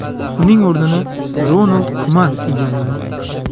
Uning o‘rnini Ronald Kuman egalladi .